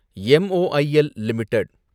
M O I L limited